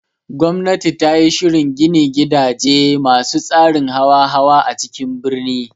Gwamnati tayi shirin gini gidaje masu tsarin hawa-hawa a cikin birni